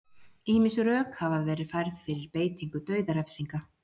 ýmis rök hafa verið færð fyrir beitingu dauðarefsinga